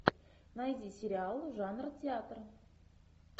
найди сериал жанр театр